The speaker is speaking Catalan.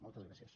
moltes gràcies